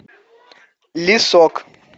лесок